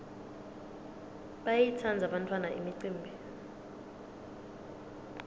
bayayitsandza bantfwana imicimbi